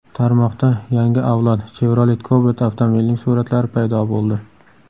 Tarmoqda yangi avlod Chevrolet Cobalt avtomobilining suratlari paydo bo‘ldi.